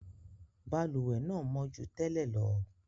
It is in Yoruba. Balùwẹ́ náà mọ́ ju tẹ́lẹ̀ lọ.